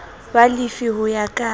wa lefi ho ya ka